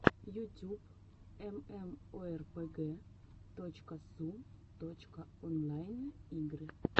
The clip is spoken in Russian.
ютюб эмэмоэрпэгэ точка су точка онлайн игры